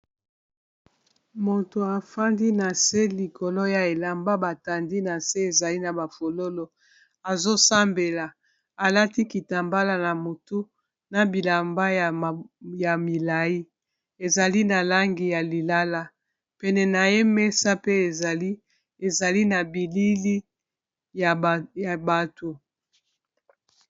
moto afandi na se likolo ya elamba batandi na se ezali na bafololo azosambela alati kitambala na motu na bilamba ya milai ezali na langi ya lilala pene na ye mesa pe ezali ezali na bilili ya bato